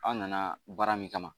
Aw nana baara min kama